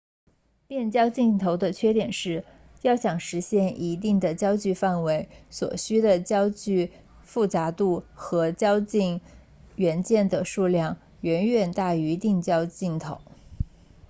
变焦镜头的缺点是要想实现一定的焦距范围所需的焦距复杂度和透镜元件的数量远远大于定焦镜头